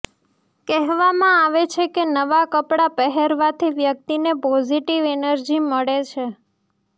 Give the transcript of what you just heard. કહેવામાં આવે છે કે નવા કપડા પહેરવાથી વ્યક્તિને પોઝિટિવ એનર્જી મળે છે